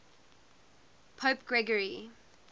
pope gregory